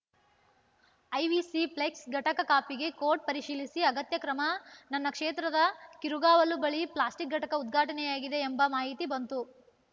IVC flex ಘಟಕ ಕಾಪಿಗೆ ಕೋಟ್‌ ಪರಿಶೀಲಿಸಿ ಅಗತ್ಯ ಕ್ರಮ ನನ್ನ ಕ್ಷೇತ್ರದ ಕಿರುಗಾವಲು ಬಳಿ ಪ್ಲಾಸ್ಟಿಕ್‌ ಘಟಕ ಉದ್ಘಾಟನೆಯಾಗಿದೆ ಎಂಬ ಮಾಹಿತಿ ಬಂತು